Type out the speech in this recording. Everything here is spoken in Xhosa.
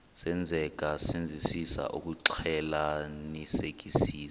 senzeka senzisisa ukuxclelanisekisisa